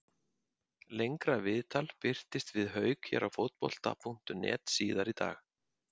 Lengra viðtal birtist við Hauk hér á Fótbolta.net síðar í dag.